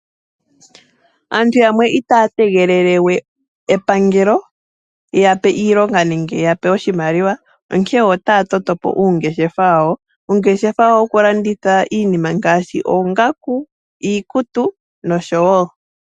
Aantu yamwe itaya tegelele we epangelo lyi yape iilonga nenge lyi yape oshimaliwa, onkene otaya totopo uungeshefa wawo. Uungeshefa wawo wokulanditha iinima ngaashi oongaku, iikutu nosho woo.